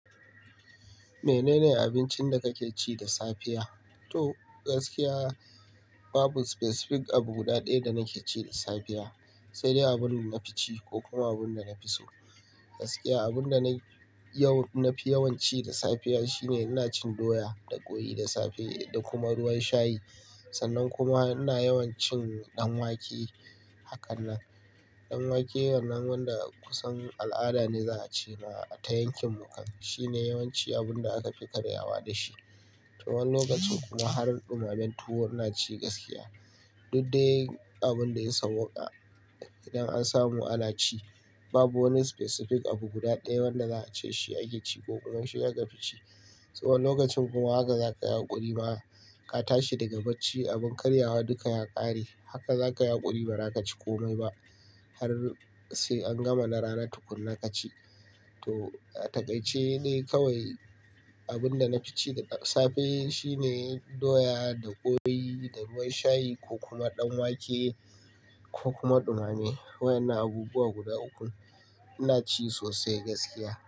Menene abincin da kake ci da safiya? To gaskiya babu specific abu guda ɗaya da nake ci da safiya, sai dai abin da na fi ci ko kuma abin da na fi so. Gaskiya abunda na yau nafi yawanci da safiya shine ina cin doya da ƙoyi da safe da kuma ruwan shayi. Sannan kuma ina yawan cin ɗanwake. Hakanan ɗanwake wannan wanda kusan al'ada ne za a cema ata yankin mu. Kan shine yawanci abun da aka fi karyawa da shi. To wani lokacin kuma har ɗumamen tuwo ina ci gaskiya. Dud de abun da ya sauƙa. Idan an samu ana ci babu wani specific abu guda ɗaya wanda za a ce shi ake ci ko kuma shi aka fi ci. To wani lokacin kuma haka zakayi haƙuri ma ka tashi daga bacci abin karyawa duka ya ƙare. Haka zaka yauƙuri ba za ka ci komai ba har sai an gama na rana tukuna ka ci. To a takaice de kawai abin da na fi ci da safe shine doya da ƙoyi da ruwan shayi ko kuma ɗanwake ko kuma ɗumame. Waƴannan abubuwa guda uku ina ci sosai gaskiya.